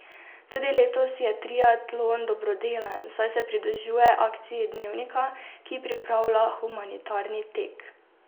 Tudi letos je triatlon dobrodelen, saj se pridružuje akciji Dnevnika, ki pripravlja Humanitarni tek.